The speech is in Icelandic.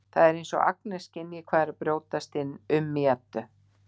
Það er eins og Agnes skynji hvað er að brjótast um í Eddu.